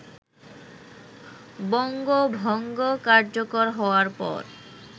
বঙ্গভঙ্গ কার্যকর হওয়ার পর